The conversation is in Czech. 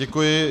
Děkuji.